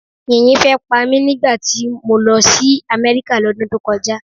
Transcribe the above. Yìnyín fẹ́ pa mí nígbà tí mo lọ sí Amerika l'ódún tó kọjá.